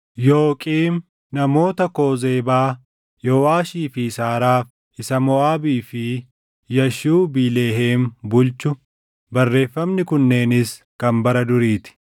Yooqiim, namoota Koozeebaa, Yooʼaashii fi Saaraaf isa Moʼaabii fi Yaashubiileheem bulchu. Barreeffamni kunneenis kan bara durii ti.